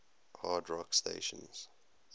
hard rock stations